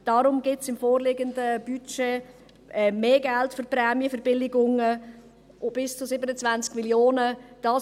Deshalb gibt es im vorliegenden Budget mehr Geld für die Prämienverbilligungen – bis zu 27 Mio. Franken.